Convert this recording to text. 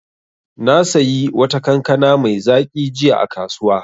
Na sayi wata kankana mai zaƙi jiya a kasuwa.